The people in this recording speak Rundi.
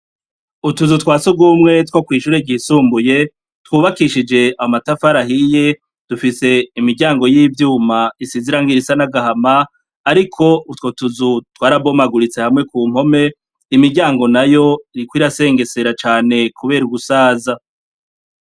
Utuzu twa si ugumwe two kw'ishuri rgisumbuye twubakishije amatafarahiye dufise imiryango y'ivyuma isizirango irisa nagahama, ariko utwo tuzu twarabomaguritse hamwe ku mpome imiryango na yo riko irasengesera cane, kubera ugusaza.